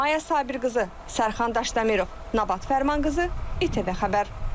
Maya Sabirqızı, Sərxan Daşdəmirov, Nabat Fərmanqızı, İTV Xəbər.